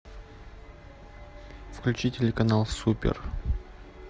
включи телеканал супер